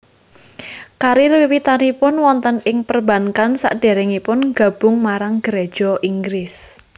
Karir wiwitanipun wonten ing perbankan sadèrèngipun gabung marang Geréja Inggris